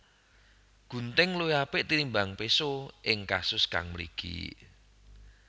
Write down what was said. Gunting luwih apik tinimbang péso ing kasus kang mligi